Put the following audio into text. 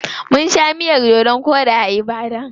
Mun sha miyar dodon koɗi a Ibadan.